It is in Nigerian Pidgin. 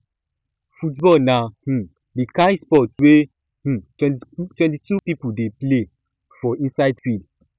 football na um di kind sport wey um 22 people dey um play for inside field